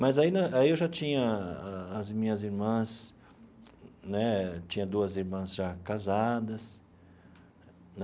Mas ainda aí eu já tinha as minhas irmãs né, tinha duas irmãs já casadas né.